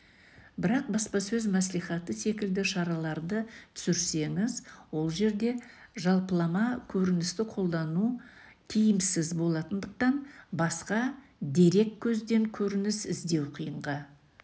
бірақ баспасөз мәслихаты секілді шараларды түсірсеңіз ол жерде жалпылама көріністі қолдану тиімсіз болатындықтан басқа дереккөзден көрініс іздеу қиынға